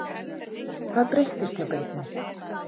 Hvað breyttist hjá Birni?